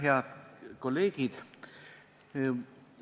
Head kolleegid!